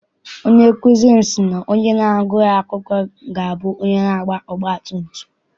Onye nkụzi m si na onye agughị akwụkwọ ga abụ onye na-anya ọgba tum tum.